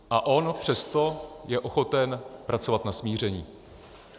A on přesto je ochoten pracovat na smíření.